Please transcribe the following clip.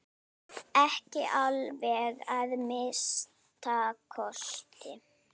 Ekki alveg að minnsta kosti!